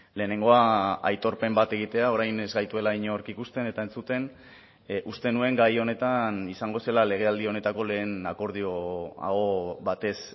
lehenengoa aitorpen bat egitea orain ez gaituela inork ikusten eta entzuten uste nuen gai honetan izango zela legealdi honetako lehen akordio aho batez